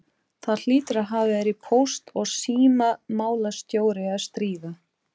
Það hlýtur að hafa verið póst- og símamálastjóri að stríða!